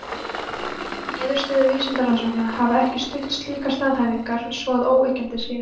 niðurstöður vísindarannsókna hafa ekki stutt slíkar staðhæfingar svo að óyggjandi sé